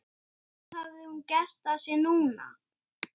Var það strax ungur.